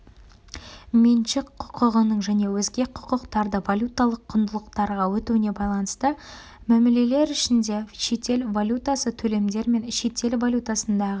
меншік құқығының және өзге құқықтардың валюталық құндылықтарға өтуіне байланысты мәмілелер ішінде шетел валютасы төлемдер мен шетел валютасындағы